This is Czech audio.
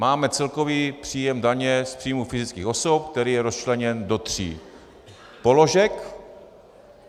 Máme celkový příjem daně z příjmů fyzických osob, který je rozčleněn do tří položek.